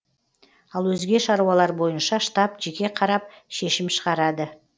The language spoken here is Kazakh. ал өзге шаруалар бойынша штаб жеке қарап шешім шығарады